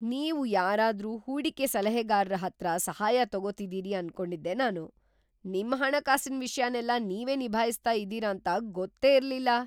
ನೀವು ಯಾರಾದ್ರೂ ಹೂಡಿಕೆ ಸಲಹೆಗಾರ್ರ ಹತ್ರ ಸಹಾಯ ತಗೊತಿದೀರಿ ಅನ್ಕೊಂಡಿದ್ದೆ ನಾನು, ನಿಮ್‌ ಹಣಕಾಸಿನ್‌ ವಿಷ್ಯನೆಲ್ಲ ನೀವೇ ನಿಭಾಯ್ಸ್ತಾ ಇದೀರಾಂತ ಗೊತ್ತೇ ಇರ್ಲಿಲ್ಲ.